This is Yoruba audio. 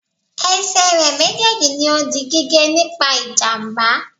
Esè re méjèèjì ni o di gígé nígbà ìjàmbá